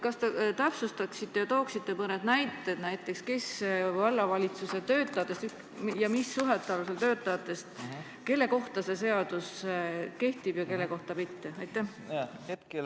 Kas te täpsustaksite ja tooksite mõne näite, näiteks, kelle kohta vallavalitsuse töötajatest ja mis suhete alusel töötajatest see seadus kehtib ja kelle kohta mitte?